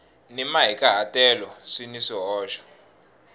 ni mahikahatelo swi na swihoxo